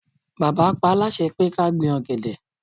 Bàbá paá láṣẹ pé ká gbin ọ̀gẹ̀dẹ̀